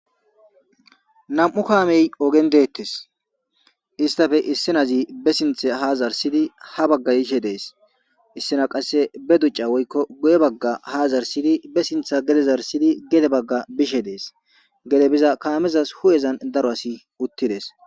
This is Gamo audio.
Nami'u kaamey ogen dettes. Istappe issinozi be sinththe haa zaarssidi ha bagga yishe dees. Issina qasse be ducca woykko guye bagga haa zarsidi be sinththa gede zarssidi gede bishe dees. Gede biza kaamezas hu'izan daro asi uttides.